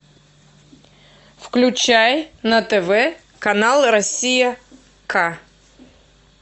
включай на тв канал россия к